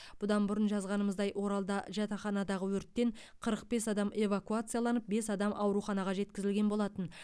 бұдан бұрын жазғанымыздай оралда жатақханадағы өрттен қырық бес адам эвакуацияланып бес адам ауруханаға жеткізілген болатын